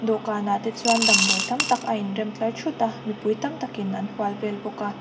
dawhkan ah te chuan damdawi tam tak a in rem tlar thuta mipui tam takin an hual vel bawka.